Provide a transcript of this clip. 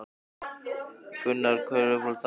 Gunnar: Hver er uppáhalds dansinn ykkar?